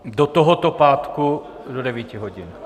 Do tohoto pátku do 9.00 hodin.